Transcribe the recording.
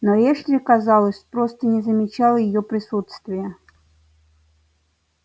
но эшли казалось просто не замечал её присутствия